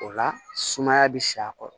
O la sumaya bɛ sa a kɔrɔ